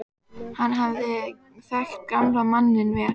Hann hafði þekkt gamla manninn vel.